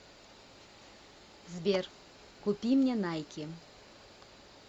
сбер купи мне найки